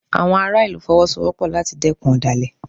Àwọn ará ìlú Fọwọ́sowọ́pọ̀ láti dẹ́kun ọ̀dàlẹ̀